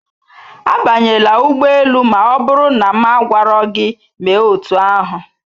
Abanyela ụgbọ elu ma ọ bụrụ na m agwaro gị mee otú ahụ